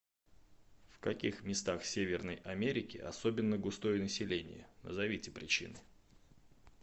в каких местах северной америки особенно густое население назовите причины